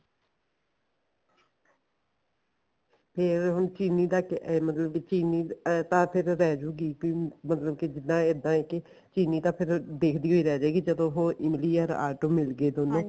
ਤੇ ਹੁਣ ਚੀਰੀ ਦਾ ਮਤਲਬ ਕੀ ਚੀਰੀ ਤਾਂ ਫੇਰ ਮਤਲਬ ਕੀ ਚੀਰੀ ਤਾਂ ਦੇਖਦੀ ਰਹਿ ਜੁਗੀ ਮਤਲਬ ਜਿੱਦਾਂ ਇੱਦਾਂ ਏ ਕੀ ਚੀਰੀ ਤਾਂ ਦੇਖਦੀ ਓ ਰਹਿ ਜੁਗੀ ਜਦੋਂ